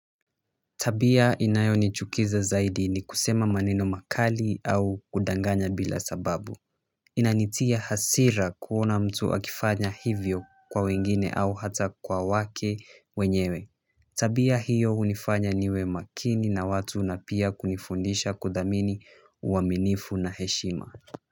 Tabia inayo nichukiza zaidi ni kusema maneno makali au kudanganya bila sababu inanitia hasira kuona mtu akifanya hivyo kwa wengine au hata kwa wake wenyewe tabia hiyo hunifanya niwe makini na watu na pia kunifundisha kuthamini uaminifu na heshima kwa hivyo.